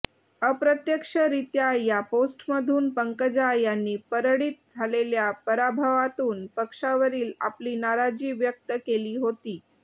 अप्रत्यक्षरीत्या या पोस्टमधून पंकजा यांनी परळीत झालेल्या पराभवातून पक्षावरील आपली नाराजी व्यक्त केली होती